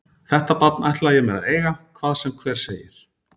Þetta barn ætla ég mér að eiga hvað sem hver segir.